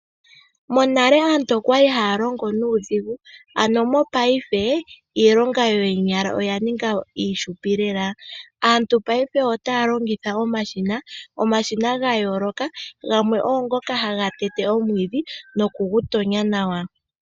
Monale aantu okwali haa longo nuudhigu. Ano mopaife iilonga yoonyala oya ninga iifupi lela. Aantu paife otaya longitha omashina, omashina gaa yooloka gamwe oongoka haga tete omwiidhi nokugu tonya nawa.